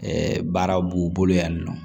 Ɛɛ baara b'u bolo yan nin nɔ